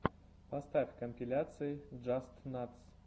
поставь компиляции джастнатс